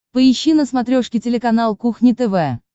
поищи на смотрешке телеканал кухня тв